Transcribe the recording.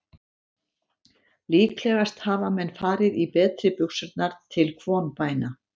Líklegast hafa menn farið í betri buxurnar til kvonbæna.